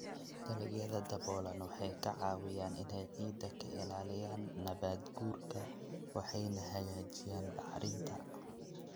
Dalagyada daboolan waxay ka caawiyaan inay ciidda ka ilaaliyaan nabaad-guurka waxayna hagaajiyaan bacrinta.